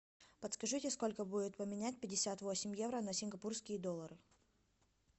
подскажите сколько будет поменять пятьдесят восемь евро на сингапурские доллары